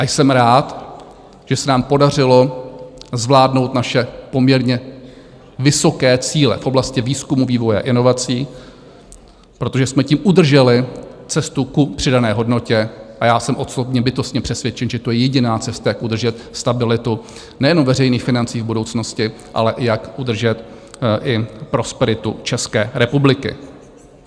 A jsem rád, že se nám podařilo zvládnout naše poměrně vysoké cíle v oblasti výzkumu, vývoje a inovací, protože jsme tím udrželi cestu ku přidané hodnotě, a já jsem osobně, bytostně přesvědčen, že to je jediná cesta, jak udržet stabilitu nejenom veřejných financí v budoucnosti, ale jak udržet i prosperitu České republiky.